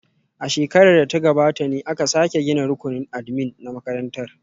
A shekarar da ta gabata ne aka sake gina rukunin admin na makarantar